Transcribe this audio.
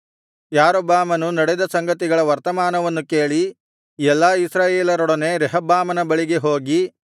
ಯಾರೊಬ್ಬಾಮನು ನಡೆದ ಸಂಗತಿಗಳ ವರ್ತಮಾನವನ್ನು ಕೇಳಿ ಎಲ್ಲಾ ಇಸ್ರಾಯೇಲರೊಡನೆ ರೆಹಬ್ಬಾಮನ ಬಳಿಗೆ ಹೋಗಿ